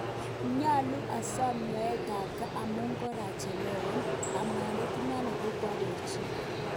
Nyalu asap nyoetap kaa amun karachelewa,"amdaitet inano kokoarochi